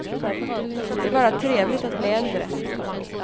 Det är bara trevligt att bli äldre.